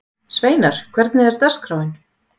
Sveinar, hvernig er dagskráin?